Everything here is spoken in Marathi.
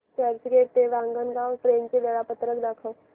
चर्चगेट ते वाणगांव ट्रेन चे वेळापत्रक दाखव